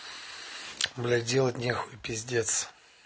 блять делать нехуй пиздец